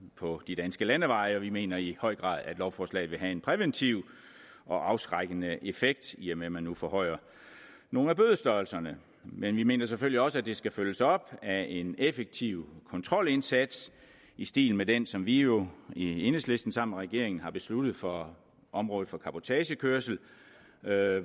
på de danske landeveje vi mener i høj grad at lovforslaget vil have en præventiv og afskrækkende effekt i og med at man nu forhøjer nogle af bødestørrelserne men vi mener selvfølgelig også at det skal følges op af en effektiv kontrolindsats i stil med den som vi jo i enhedslisten sammen med regeringen har besluttet for området for cabotagekørsel